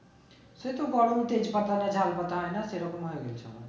সে তো